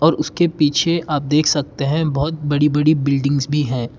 और उसके पीछे आप देख सकते हैं बहोत बड़ी बड़ी बिल्डिंग्स भी है।